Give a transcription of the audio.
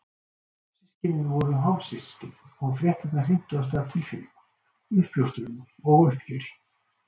Systkinin voru hálfsystkin og fréttirnar hrintu af stað tilfinningum, uppljóstrunum og uppgjöri.